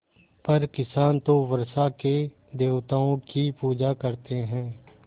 पर किसान तो वर्षा के देवताओं की पूजा करते हैं